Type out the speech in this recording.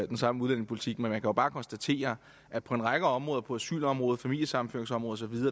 den samme udlændingepolitik men man kan jo bare konstatere at på en række områder på asylområdet på familiesammenføringsområdet